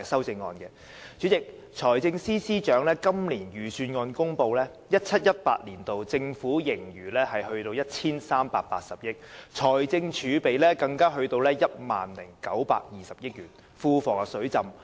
代理主席，財政司司長在公布今年的財政預算案時表示 ，2017-2018 年度的政府盈餘高達 1,380 億元，而財政儲備更高達 10,920 億元，庫房"水浸"。